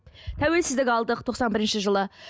тәуелсіздік алдық тоқсан бірінші жылы